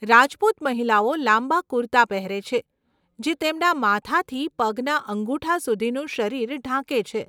રાજપૂત મહિલાઓ લાંબા કુર્તા પહેરે છે જે તેમના માથાથી પગના અંગુઠા સુધીનું શરીર ઢાંકે છે.